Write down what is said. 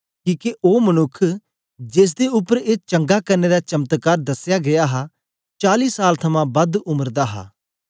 किके ओ मनुक्ख जेसदे उपर ए चंगा करने दा चमत्कार दसया गीया हा चाली साल थमां बद उम्र दा हा